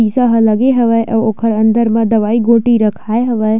शीशा ह लगे हवय अउ ओकर अंदर मे दवाई गोटी रखाए हवय।